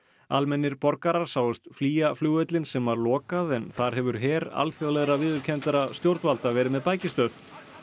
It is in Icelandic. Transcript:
almennir borgarar sáust flýja flugvöllinn sem var lokað en þar hefur her alþjóðlegra viðurkenndra stjórnvalda verið með bækistöð